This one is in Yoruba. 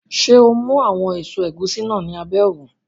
Ṣé o mú àwọn èso ẹ̀gúsí náà ní abẹ́ òrùn?